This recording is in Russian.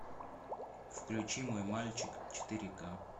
включи мой мальчик четыре к